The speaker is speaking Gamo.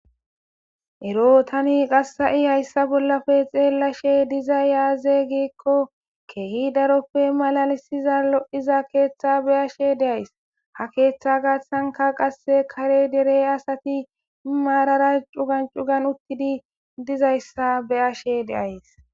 ero tani qassa7i hayssa bollafe xeellashe diza yaaze giikko keehi daroppe malalisiza lo7iza keeththa be'ashe deays ha keeththa gaathtsanka qase kare derey asati maarara cugancugan uttidi dizayssa be ashe deays